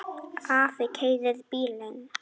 Afi keyrir bílinn.